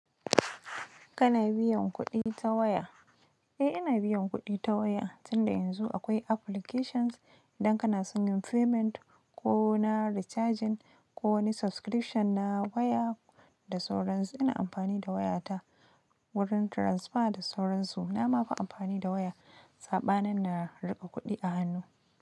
Kana biyan kuɗi ta waya? Eh, ina biyan kuɗi ta waya, tunda yanzu akwai applications idan kana son yin payment ko na recharging ko wani subscription na waya da sauransu. Ina amfani da wayata wurin transfer da sauransu. Na ma fi amfani da waya, saɓanin na riƙa kuɗi a hannu.